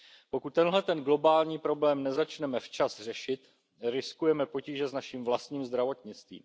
Pokud tenhle globální problém nezačneme včas řešit, riskujeme potíže s naším vlastním zdravotnictvím.